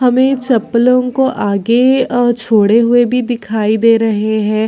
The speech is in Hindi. हमें चप्पलों को आगे अअ छोड़े हुए भी दिखाई दे रहे है।